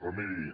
però miri